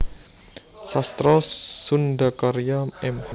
Sastra SundhaKarya Mh